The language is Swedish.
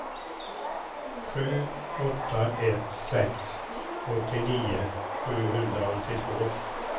sju åtta ett sex åttionio sjuhundraåttiotvå